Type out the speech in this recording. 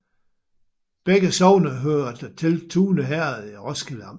Begge sogne hørte til Tune Herred i Roskilde Amt